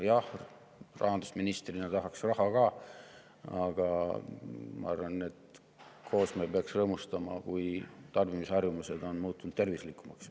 Jah, rahandusministrina tahaks raha ka, aga ma arvan, et me peaksime koos rõõmustama, kui tarbimisharjumused on muutunud tervislikumaks.